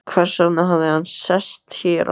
Hversvegna hafði hann sest hér að?